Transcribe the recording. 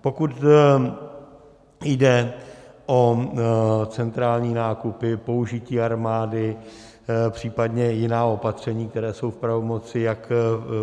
Pokud jde o centrální nákupy, použití armády, příp. jiná opatření, která jsou v pravomoci jak